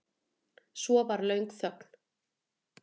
Svo var löng þögn.